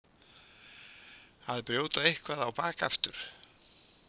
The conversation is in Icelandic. Að brjóta eitthvað á bak aftur